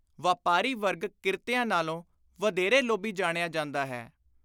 ਵਾਪਾਰੀ ਵਰਗ ਕਿਰਤੀਆਂ ਨਾਲੋਂ ਵਧੇਰੇ ਲੋਭੀ ਜਾਣਿਆ ਜਾਂਦਾ ਹੈ।